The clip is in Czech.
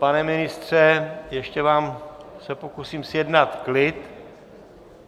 Pane ministře, ještě se vám pokusím zjednat klid.